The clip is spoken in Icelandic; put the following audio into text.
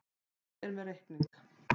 Ég er með reikning.